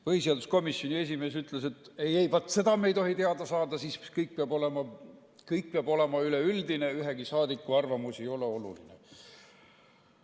Põhiseaduskomisjoni esimees ütles, et ei-ei, seda me ei tohi teada saada, kõik peab olema üleüldine, ühegi saadiku arvamus ei ole oluline.